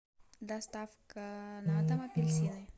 доставка на дом апельсины